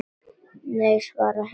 Nei, svara hinar í kór.